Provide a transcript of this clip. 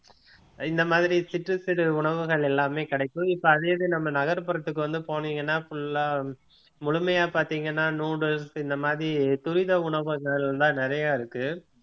இந்த மாதிரி சிற்று சிறு சிறு உணவுகள் எல்லாமே கிடைக்கும் இப்ப அதே இது நம்ம நகர்புறத்துக்கு வந்து போனீங்கன்னா full ஆ முழுமையா பார்த்தீங்கன்னா noodles இந்த மாதிரி துரித உணவுகள் தான் நிறைய இருக்கு